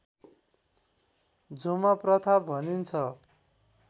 झुमा प्रथा भनिन्छ